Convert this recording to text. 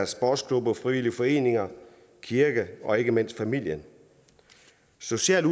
sportsklubber og frivillige foreninger kirke og ikke mindst familie socialt